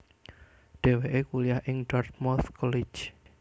Dhèwèké kuliah ing Dartmouth College